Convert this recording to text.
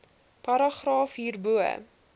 paragraaf hierbo